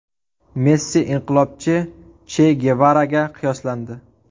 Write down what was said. Messi inqilobchi Che Gevaraga qiyoslandi .